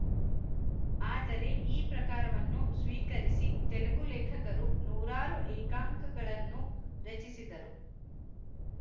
ಆದರೆ ಈ ಪ್ರಕಾರವನ್ನು ಸ್ವೀಕರಿಸಿ ತೆಲುಗು ಲೇಖಕರು ನೂರಾರು ಏಂಕಾಂಕಗಳನ್ನು ರಚಿಸಿದರು